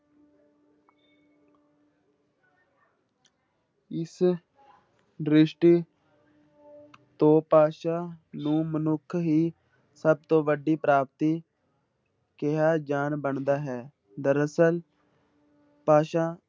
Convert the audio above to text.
ਇਸ ਦ੍ਰਿਸ਼ਟੀ ਤੋਂ ਭਾਸ਼ਾ ਨੂੰ ਮਨੁੱਖ ਹੀ ਸਭ ਤੋਂ ਵੱਡੀ ਪ੍ਰਾਪਤੀ ਕਿਹਾ ਜਾਣ ਬਣਦਾ ਹੈ, ਦਰਅਸਲ ਭਾਸ਼ਾ